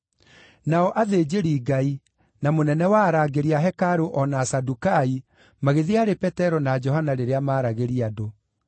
Nao athĩnjĩri-Ngai, na mũnene wa arangĩri a hekarũ, o na Asadukai magĩthiĩ harĩ Petero na Johana rĩrĩa maaragĩria andũ.